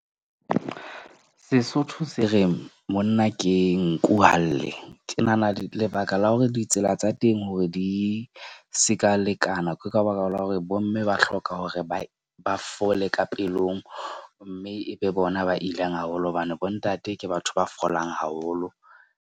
Sesotho se reng monna ke nku ha lle. Ke nahana lebaka la hore ditsela tsa teng hore di seka lekana. Ke ka baka la hore bomme ba hloka hore ba fole ka pelong. Mme e be bona ba ilang haholo. Hobane bo ntate ke batho ba folang haholo.